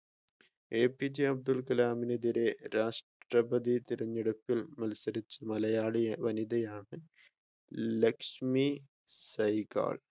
APJ Abdul കലാമിനെതിരെ രാഷ്‌ട്രപ്രതി തിരഞ്ഞെടുപ്പിൽ മത്സരിച്ച മലയാളി വനിതയാണ് ലക്ഷ്മി സഹ്കൾ